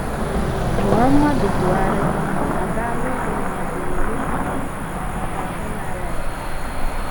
Muhamadu Buhari agaala ụlọọgwụ ugboro ole na ole maka ahụ na-arịa ya